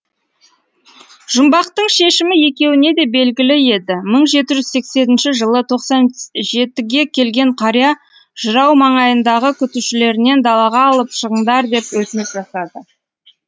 жұмбақтың шешімі екеуіне де белгілі еді мың жеті жүз сексенінші жылы тоқсан жетіге келген қария жырау маңайындағы күтушілерінен далаға алып шығыңдар деп өтініш жасады